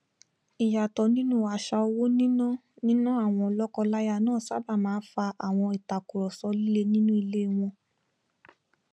ìyàtọ nínú àṣà owó níná níná àwọn lọkọláya náà sábà máa n fa àwọn ìtàkurọsọ líle nínú ilé wọn